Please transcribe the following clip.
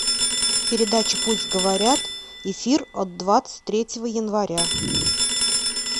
передача пусть говорят эфир от двадцать третьего января